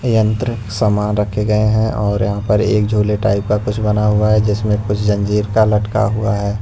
यंत्र सामान रखे गए हैं और यहां पर एक झोले टाइप का कुछ बना हुआ है जिसमें कुछ जंजीर का लटका हुआ है।